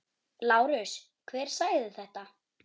LÁRUS: Hver sagði þetta?